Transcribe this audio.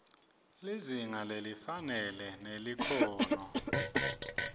lizinga lelifanele nelikhono